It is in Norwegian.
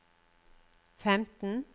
femten